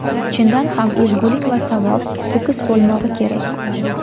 Chindan ham, ezgulik va savob – to‘kis bo‘lmog‘i kerak.